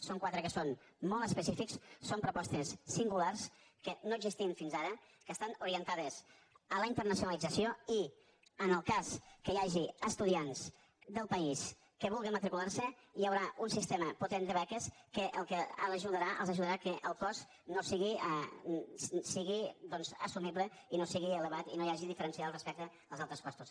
són quatre que són molt específics són propostes singulars que no existien fins ara que estan orientades a la internacionalització i en el cas que hi hagi estudiants del país que vulguin matricular s’hi hi haurà un sistema potent de beques que els ajudarà que el cost sigui doncs assumible i no sigui elevat i no hi hagi diferències respecte als altres costos